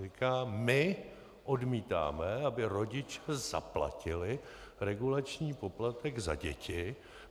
Říká: My odmítáme, aby rodiče zaplatili regulační poplatek za děti.